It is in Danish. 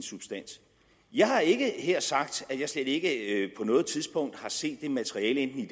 substans jeg har ikke her sagt at jeg slet ikke noget tidspunkt har set det materiale enten i